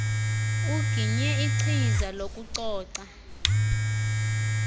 uginye ichiza lokucoca